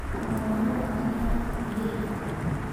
Mũrũaru wao nĩ arakuire ira.